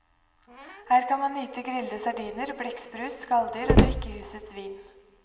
Her kan man nyte grillede sardiner, blekksprut, skalldyr og drikke husets vin.